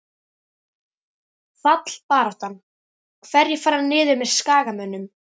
Fallbaráttan- Hverjir fara niður með Skagamönnum?